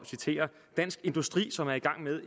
citere dansk industri som er i gang med